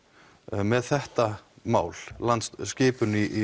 með þetta mál skipun í